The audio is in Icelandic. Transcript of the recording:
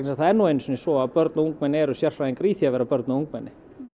það er nú einu sinni svo að börn og ungmenni eru sérfræðingar í því að vera börn og ungmenni